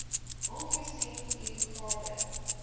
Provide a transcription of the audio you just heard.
aangesien u gade